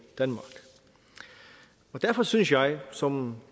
danmark derfor synes jeg som